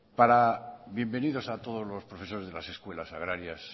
bienvenidos a todos los profesores de las escuelas agrarias